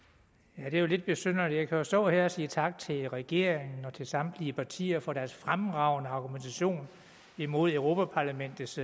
ja det er lidt besynderligt at stå her og sige tak til regeringen og til samtlige partier for deres fremragende argumentation imod europa parlamentets